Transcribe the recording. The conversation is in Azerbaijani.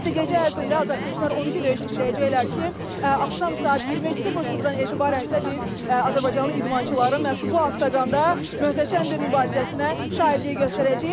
Ümumiyyətlə gecə ərzində azarkeşlər 12 döyüş izləyəcəklər ki, axşam saat 20:00-dan etibarən isə biz azərbaycanlı idmançıların məhz bu oqonda möhtəşəm bir mübarizəsinə şahidlik göstərəcəyik.